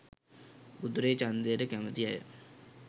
උතුරේ චන්දයට කැමති අය